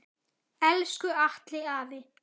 Elsku Atli afi.